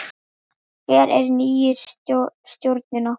Hver er nýi stjórinn okkar?